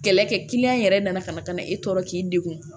Kɛlɛ kɛ yɛrɛ nana ka na ka na e tɔ k'i degun